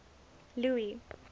louis